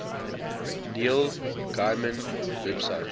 neil gaiman website